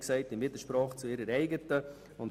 Sie steht im Widerspruch zu ihrer eigenen Erklärung.